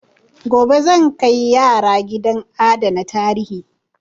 Gobe zan kai yara gidan adana tarihi.